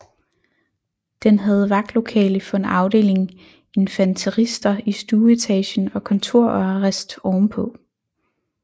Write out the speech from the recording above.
Den havde vagtlokale for en afdeling infanterister i stueetagen og kontor og arrest ovenpå